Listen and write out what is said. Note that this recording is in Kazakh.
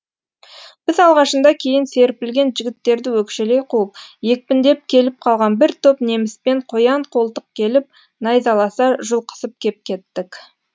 біз алғашында кейін серпілген жігіттерді өкшелей қуып екпіндеп келіп қалған бір топ неміспен қоян қолтық келіп найзаласа жұлқысып кеп кеттік